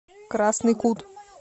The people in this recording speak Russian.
красный кут